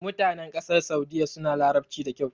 Mutanen ƙasar Saudiyya suna Larabci da kyau.